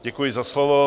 Děkuji za slovo.